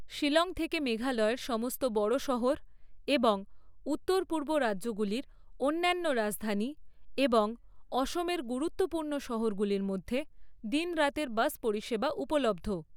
শিলং থেকে মেঘালয়ের সমস্ত বড় শহর এবং উত্তর পূর্ব রাজ্যগুলির অন্যান্য রাজধানী এবং অসমের গুরুত্বপূর্ণ শহরগুলির মধ্যে দিন রাতের বাস পরিষেবা উপলব্ধ।